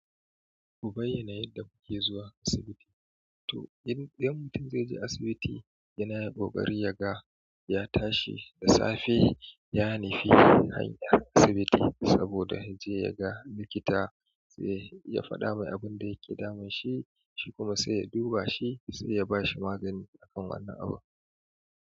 Mu bayyana yadda muke zuwa asibiti. To in ɗan mutum zai je asibiti yana ƙoƙari yaga, ya tashi da safe, yanufi hanyar asibiti saboda ya je ya ga likita, sai ya faɗa masa abin da yake damunsa, shi kuma sai ya duba shi, sai ya ba shi magani akan wannan abu.